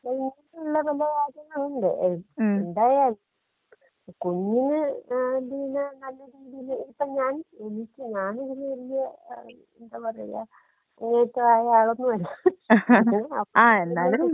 *Not ക്ലിയർ* എന്തായാലും കുഞ്ഞിന് ഏ നല്ല രീതീല് *നോട്ട്‌ ക്ലിയർ* ഇപ്പൊ ഞാൻ എനിക്ക് ഞാനിതില് വല്ല്യ ആ എന്താ പറയാ *നോട്ട്‌ ക്ലിയർ* ആയ ആളൊന്നുമല്ല.